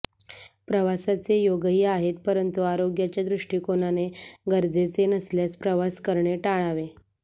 प्रवासाचे योगही आहेत परंतु आरोग्याच्या दृष्टीकोनाने गरजेचे नसल्यास प्रवास करणे टाळावे